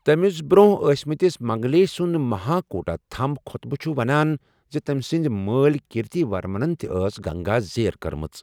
تمِس بروہنہ ٲسمٕتس منگلیش سُند مہاکُوٹا تھمب خۄطبہٕ چھُ ونان زِ تمہِ سٕندِ مٲلہِ کیرتی ورمنن تہِ ٲس گنگا زیر کٔرمٕژ ۔